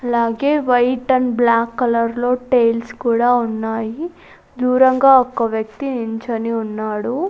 అలాగే white and black colour లో tiles కూడా ఉన్నాయి దూరంగా ఒక వ్యక్తి నించోని ఉన్నాడు.